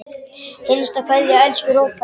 HINSTA KVEÐJA Elsku Róbert.